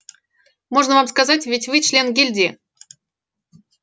можно вам сказать ведь вы член гильдии